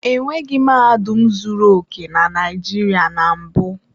E nweghi mahadum zuru oke na Naịjirịa na mbụ.